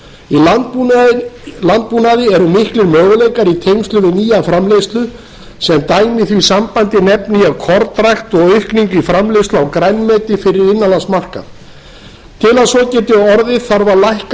í landbúnaði eru miklir möguleikar í tengslum við nýja framleiðslu sem dæmi í því sambandi nefni ég kornrækt og aukningu í framleiðslu á grænmeti fyrir innanlandsmarkað til að svo geti orðið þarf að lækka